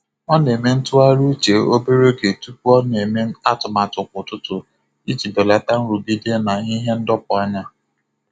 Ọ na-eme ntụgharị uche obere oge tupu ọ na-eme atụmatụ kwa ụtụtụ iji belata nrụgide na ihe ndọpụ anya.